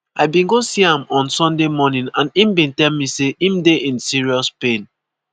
i bin go see am [on sunday] morning and im bin tell me say im dey in serious pain.